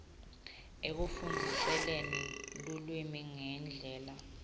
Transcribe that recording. ekufundziseni lulwimi ngendlela